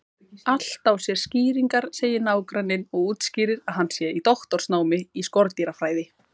Allt á sér skýringar, segir nágranninn og útskýrir að hann sé í doktorsnámi í skordýrafræði.